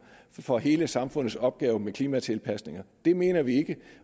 for hele samfundets opgave med klimatilpasninger det mener vi ikke